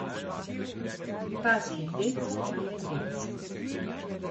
Pasji dec pa je dec.